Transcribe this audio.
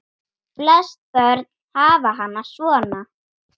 Flest börn hafa hana svona